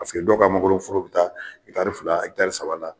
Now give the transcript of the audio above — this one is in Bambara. Paseke dɔw ka mangoro foro be taa ɛtari fila ɛtari saba la